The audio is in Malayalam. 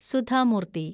സുധ മൂർത്തി